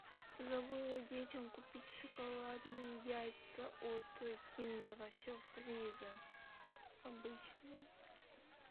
забыла детям купить шоколадные яйца от киндера сюрприза обычные